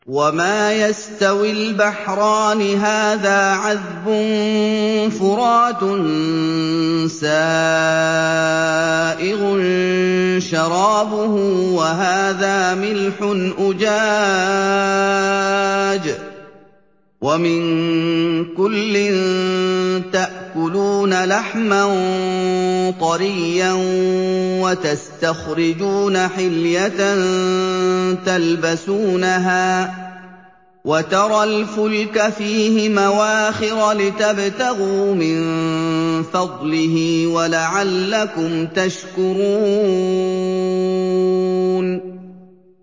وَمَا يَسْتَوِي الْبَحْرَانِ هَٰذَا عَذْبٌ فُرَاتٌ سَائِغٌ شَرَابُهُ وَهَٰذَا مِلْحٌ أُجَاجٌ ۖ وَمِن كُلٍّ تَأْكُلُونَ لَحْمًا طَرِيًّا وَتَسْتَخْرِجُونَ حِلْيَةً تَلْبَسُونَهَا ۖ وَتَرَى الْفُلْكَ فِيهِ مَوَاخِرَ لِتَبْتَغُوا مِن فَضْلِهِ وَلَعَلَّكُمْ تَشْكُرُونَ